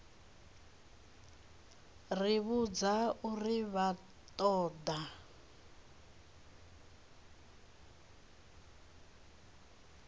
ri vhudza uri vha ṱoḓa